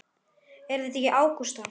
Er það ekki Ágústa?